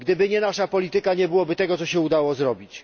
Gdyby nie nasza polityka, nie byłoby tego, co się udało zrobić.